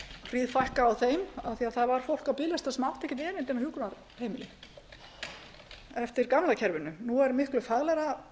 bara hríðfækkaði á þeim af því að það var fólk á biðlista sem átti ekkert erindi á hjúkrunarheimili eftir gamla kerfinu nú er miklu faglegra